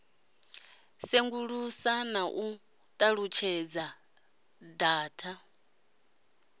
sengulusa na u ṱalutshedza data